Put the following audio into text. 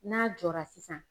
N'a jɔra sisan